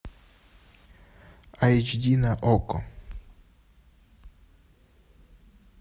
айч ди на окко